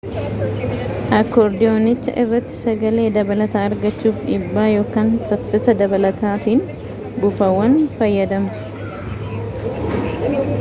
akoordiyoonicha irratti sagalee dabalataa argachuuf dhibbaa ykn saffisa dabalataatiin buufaawwan fayyadamtu